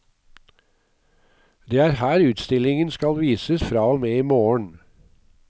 Det er her utstillingen skal vises fra og med i morgen.